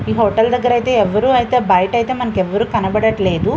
ఈ హోటల్ దగ్గర ఐతే ఎవరు ఐతే బయటైతే మనకు ఎవరు కనబట్లేదు.